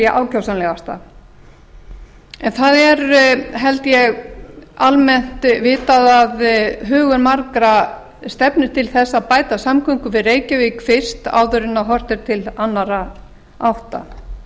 ákjósanlegasta það er held ég almennt vitað að hugur margra stefnir til þess að bæta samgöngur við reykjavík fyrst áður en horft er til annarra átta